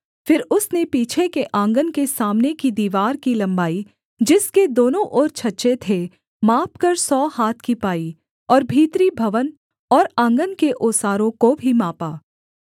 फिर उसने पीछे के आँगन के सामने की दीवार की लम्बाई जिसके दोनों ओर छज्जे थे मापकर सौ हाथ की पाई और भीतरी भवन और आँगन के ओसारों को भी मापा